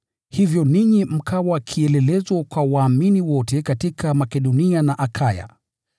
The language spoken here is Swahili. Hivyo ninyi mkawa kielelezo kwa waumini wote katika Makedonia na Akaya.